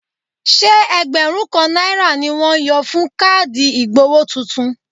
Ṣé ẹgbẹ̀rún kan náírà ni wọ́n yọ fún káàdì ìgbowó tuntun?